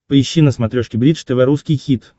поищи на смотрешке бридж тв русский хит